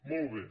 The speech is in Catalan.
molt bé